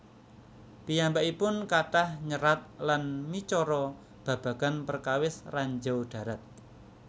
Piyambakipun kathah nyerat lan micara babagan perkawis ranjau darat